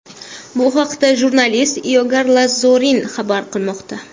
Bu haqda jurnalist Igor Lazorin xabar qilmoqda .